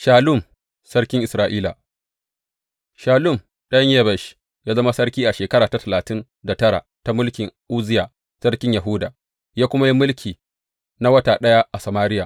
Shallum sarkin Isra’ila Shallum ɗan Yabesh ya zama sarki a shekara ta talatin da tara ta mulkin Uzziya sarkin Yahuda, ya kuma yi mulki na wata ɗaya a Samariya.